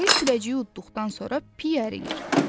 Ayı kürəciyi uddıqdan sonra piy əriyir.